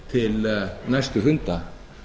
til næstu funda